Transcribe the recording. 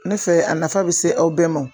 Ne fɛ a nafa bɛ se aw bɛɛ ma